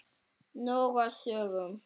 Nóg af sögum.